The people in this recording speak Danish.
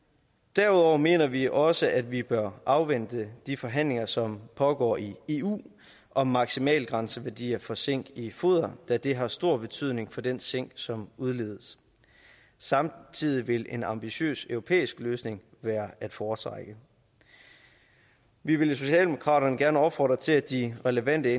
derudover mener vi også at vi bør afvente de forhandlinger som pågår i eu om maksimalgrænseværdier for zink i foder da det har stor betydning for den zink som udledes samtidig vil en ambitiøs europæisk løsning være at foretrække vi vil i socialdemokraterne gerne opfordre til at de relevante